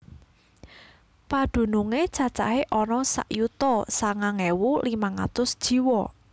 Padunungé cacahé ana sak yuta sangang ewu limang atus jiwa